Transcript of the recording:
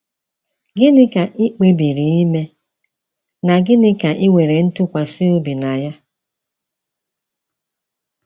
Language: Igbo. Gịnị ka ị kpebiri ime, na gịnị ka ị nwere ntụkwasị obi na ya?